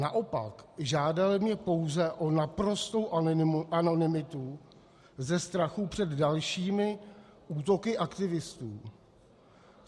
Naopak, žádali mě pouze o naprostou anonymitu ze strachu před dalšími útoky aktivistů.